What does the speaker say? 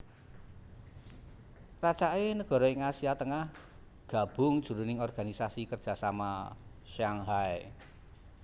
Racaké nagara ing Asia Tengah gabung jroning Organisasi Kerjasama Shanghai